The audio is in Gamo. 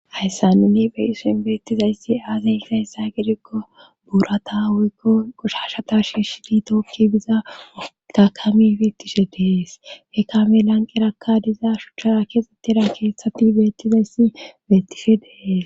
hayssa nini beyison beettizayssi aazey fayssa gidikko buurata woykko qoshashata shiishi di tookki biza otakamifetishe dees he kami lanqerakka diza shuchchaa keexxettida keethtati beettizayssi beettishe dees